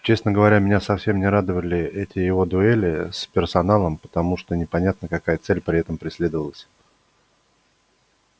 честно говоря меня совсем не радовали эти его дуэли с персоналом потому что непонятно какая цель при этом преследовалась